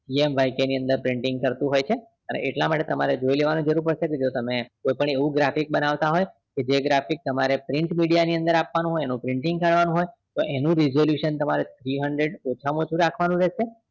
CMYK ની અંદર printing કરતું હોય છે અને એટલા માટે તમારે જોઈ લેવાની જરૂર પડશે કે જો તમે કોઈપણ એવું graphics બનાવતા હોય કે જે graphics તમારી Print media ની અંદર આપવાનો હોય એનો printing કરવાનો હોય તો એનું resolution તમારે three hundred ઓછામાં ઓછું રાખવાનું રહેશે